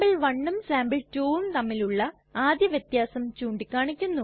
sample1ഉം sample2ഉം തമ്മിലുള്ള ആദ്യ വ്യത്യാസം ചൂണ്ടിക്കാണിക്കുന്നു